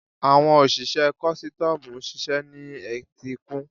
Àwọn òṣìṣẹ́ kọ́stọ́mù ń ṣiṣẹ́ ní etíkun.